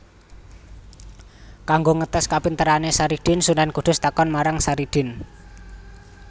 Kanggo ngetès kapinterané Saridin Sunan Kudus takon marang Saridin